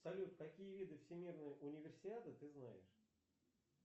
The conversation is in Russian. салют какие виды всемирной универсиады ты знаешь